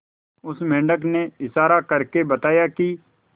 उस मेंढक ने इशारा करके बताया की